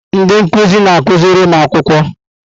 Ndị nkuzi na-akụziri ụmụ akwụkwọ.